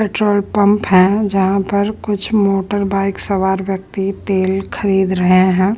Petrol pump है जहाँ पर कुछ मोटर बाइक सवार व्यक्ति तेल खरीद रहे है।